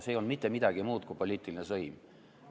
See ei olnud mitte midagi muud kui poliitiline sõim.